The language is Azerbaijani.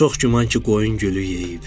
Çox güman ki, qoyun gülü yeyib.